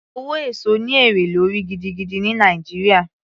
Owó èso ní èrè lórí gidigidi ní Nàìjíríà